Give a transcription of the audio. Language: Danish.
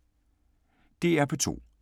DR P2